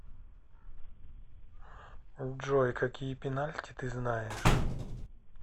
джой какие пенальти ты знаешь